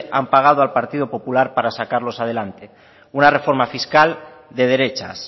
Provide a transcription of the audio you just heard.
han pagado al partido popular para sacarlos adelante una reforma fiscal de derechas